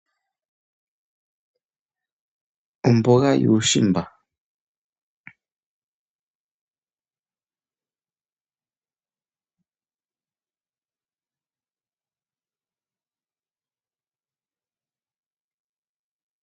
Ombuga yuushimba. Ombuga yuushimba oyo ombwaanawa unene. Aatalelipo oyendji ohaya yi yaka tale nkene yatya, yo taya thaaneke omahangano gawo.